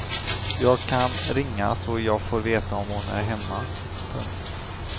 Jag kan ringa så jag får veta om hon är hemma. punkt